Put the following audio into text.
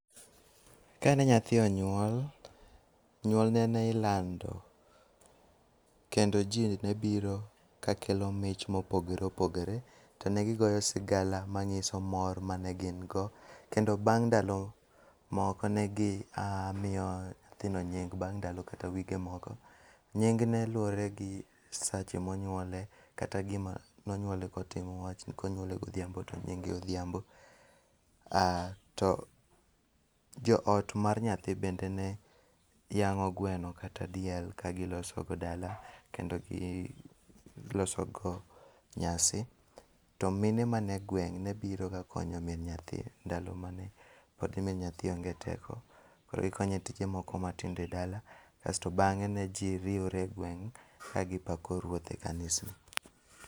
Kane nyathi onyuol, nyuolne ne ilando kendo ji ne biro ka kelo mich mopogore ipogore kendo ne gigoyo sigala manyiso mor mane gin go. Kendo bang' ndalo moko ne gimiyo nyithindo nying bang' ndalo kata wige moko. Nying ne luwore gi sache monyuole, kata gima nonyuole kotimo. Konyuole godhiambo to nyinge odhiambo. Ah to joot mar nyathi bende ne yang'o gweno kata diel ka gilosogo dala kendo gilosogo nyasi. To mine man egweng' ne biroga konyo min nyathi ndalo mane pod nyathi onge teko. Koro gikonye tije moko matindo e dala kasto bang'e ne ji riere egweng' ka gipako ruoth e kanisa.